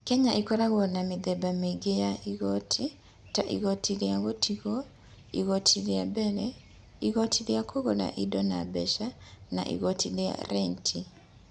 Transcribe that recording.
Kenya ĩkoragwo na mĩthemba mĩingĩ ya igooti, ta igooti rĩa gũtigwo, igooti rĩa mbere, igooti rĩa kũgũra indo na mbeca, na igooti rĩa renti.